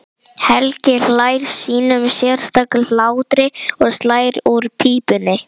Helgi hlær sínum sérstaka hlátri og slær úr pípunni.